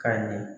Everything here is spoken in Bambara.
Ka ɲɛ